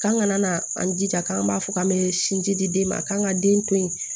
K'an ka na an jija k'an b'a fɔ k'an bɛ sinji di den ma k'an ka den to yen